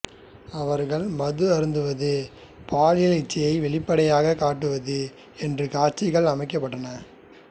அவர்கள் மது அருந்துவது பாலியல் இச்சையை வெளிப்படையாகக் காட்டுவது என்று காட்சிகள் அமைக்கப்பட்டன